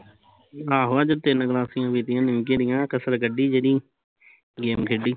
ਆਹੋ ਅੱਜ ਤਿੰਨ ਗਲਾਸੀਆ ਪਿਤੀਂਆ ਨਿਮਕੇ ਦੀਆ ਕਸਰ ਕੱਡੀ ਜਿਹੜੀ game ਖੇਡੀ